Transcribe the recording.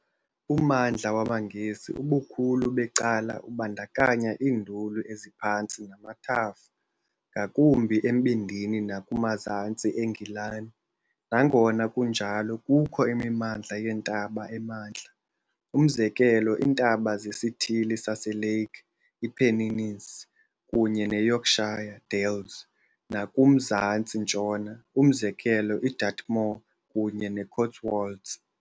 Ummandla wamaNgesi ubukhulu becala ubandakanya iinduli eziphantsi namathafa, ngakumbi embindini nakumazantsi eNgilani. Nangona kunjalo, kukho imimandla yeentaba emantla umzekelo, iintaba zeSithili saseLake, iiPennines kunye neYorkshire Dales nakumzantsi-ntshona umzekelo, iDartmoor kunye neCotswolds.